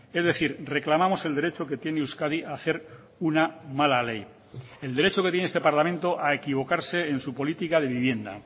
es decir reclamamos el derecho que tiene euskadi a hacer una mala ley el derecho que tiene este parlamento a equivocarse en su política de vivienda